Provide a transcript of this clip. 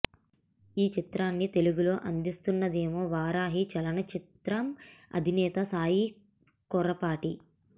ఈ చిత్రాన్ని తెలుగులో అందిస్తున్నదేమో వారాహి చలనచిత్రం అధినేత సాయి కొర్రపాటి